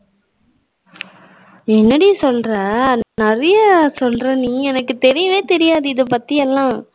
என்னடி சொல்ற நிறைய சொல்ற நீ எனக்கு தெரியவே தெரியாது இது பத்தி எல்லாம்